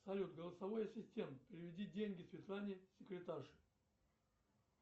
салют голосовой ассистент переведи деньги светлане секретарше